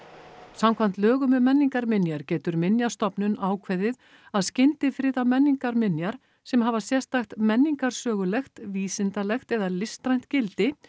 samkvæmt lögum um menningarminjar getur Minjastofnun ákveðið að menningarminjar sem hafa sérstakt menningarsögulegt vísindalegt eða listrænt gildi